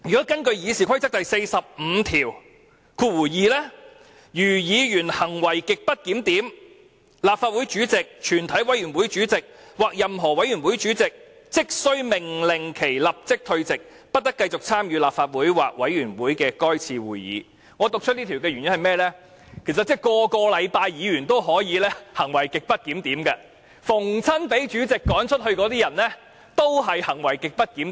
根據《議事規則》第452條，"如議員行為極不檢點，立法會主席、全體委員會主席或任何委員會主席即須命令其立即退席，不得繼續參與立法會或委員會的該次會議"，我讀出這項條文的原因是，其實每星期也可以發生議員行為極不檢點的事件，每個被主席趕走的人均是行為極不檢點。